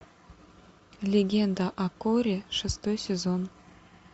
легенда о корре шестой сезон